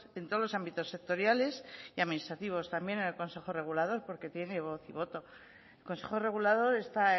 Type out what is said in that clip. en todos los ámbitos sectoriales y administrativos también en el consejo regulador porque tiene voz y voto el consejo regulador